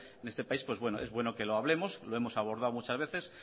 en este país pues bueno es bueno que lo hablemos lo hemos abordado muchas veces